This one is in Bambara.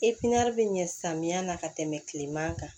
bɛ ɲɛ samiya ka tɛmɛ tileman kan